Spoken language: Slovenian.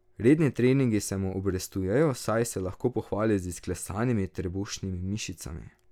Redni treningi se mu obrestujejo, saj se lahko pohvali z izklesanimi trebušnimi mišicami.